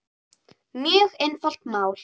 Mjög einfalt mál